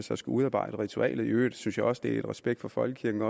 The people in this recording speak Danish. der skal udarbejde ritualer i øvrigt synes jeg også at det er i respekt for folkekirken